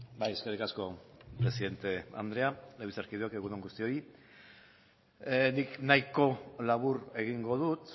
bai eskerrik asko presidente andrea legebiltzarkideok egun on guztioi nik nahiko labur egingo dut